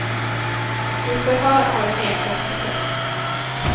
I förhör har de nekat till brott.